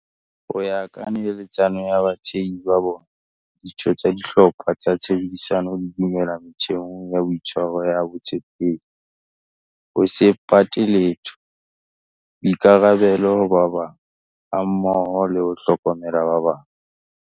"Ho ya ka neheletsano ya bathehi ba bona, ditho tsa dihlopha tsa tshebedisano di dumela metheong ya boitshwaro ya botshepehi, ho se pate letho, boikarabelo ho ba bang hammoho le ho hlokomela ba bang".